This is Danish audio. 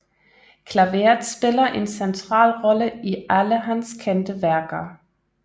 Klaveret spiller en central rolle i alle hans kendte værker